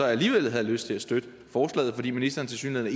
alligevel havde lyst til at støtte forslaget fordi ministeren tilsyneladende